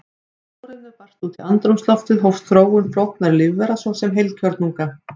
Þegar súrefni barst út í andrúmsloftið hófst þróun flóknara lífvera, svo sem heilkjörnunga.